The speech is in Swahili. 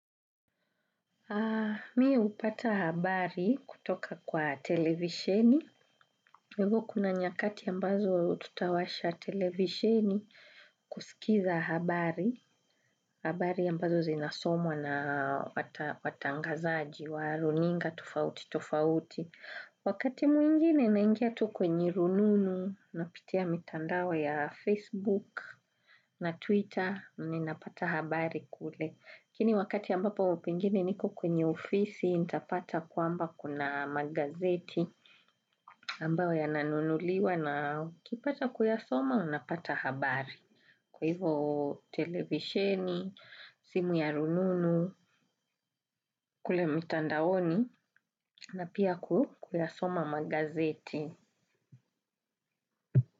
Mi hupata habari kutoka kwa televisheni. Hivo kuna nyakati ambazo tutawasha televisheni kusikiza habari. Habari ambazo zinasomwa na watangazaji, wa runinga tofauti tofauti. Wakati mwingine naingia tu kwenye rununu, napitia mitandao ya Facebook na Twitter, nina pata habari kule. Lakini wakati ambapo pengine niko kwenye ofisi, nitapata kwamba kuna magazeti ambayo yananunuliwa na ukipata kuyasoma unapata habari. Kwa hivo televishen, simu ya rununu, kule mtandaoni na pia kuyasoma magazeti.